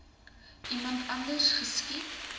iemand anders geskiet